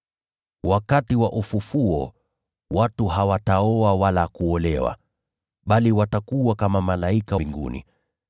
Wakati wa ufufuo, watu hawataoa wala kuolewa, bali watakuwa kama malaika wa mbinguni.